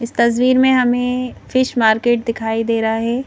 इस तस्वीर में हमें फिश मार्केट दिखाई दे रहा है।